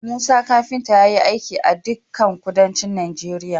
Musa kafinta yayi aiki a dikan kuduncin Nigeria